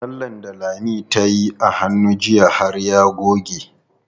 Lallen da Lami tayi a hannu jiya har ya goge.